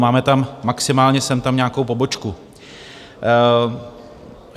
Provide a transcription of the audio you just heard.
Máme tam maximálně sem tam nějakou pobočku.